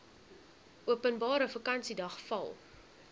openbare vakansiedag val